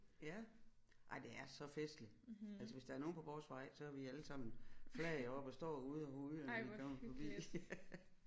Ja ej det er så festligt altså hvis der er nogle på vores vej så er vi alle sammen flag oppe og står ude og hujer når de kommer forbi